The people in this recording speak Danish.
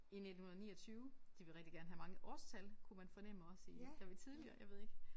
I 1929 de vil rigtig gerne have mange årstal kunne man fornemme også i da vi tidligere jeg ved ikke